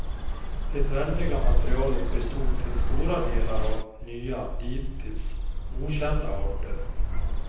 Det väldiga materialet bestod till stora delar av nya, dittills okända arter.